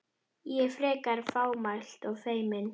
Ég, frekar fámælt og feimin.